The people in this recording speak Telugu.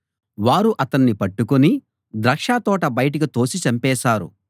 వారు అతణ్ణి పట్టుకుని ద్రాక్షతోట బయటికి తోసి చంపేశారు